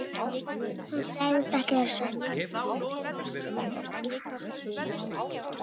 Hún sagðist ekki vera svöng.